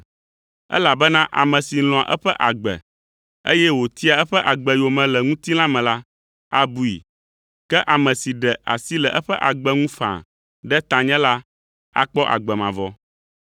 elabena ame si lɔ̃a eƒe agbe, eye wòtia eƒe agbe yome le ŋutilã me la, abui; ke ame si ɖe asi le eƒe agbe ŋu faa ɖe tanye la, akpɔ agbe mavɔ.